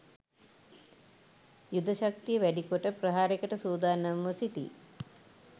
යුද ශක්තියවැඩි කොට ප්‍රහාරයකට සූදානම්ව සිටී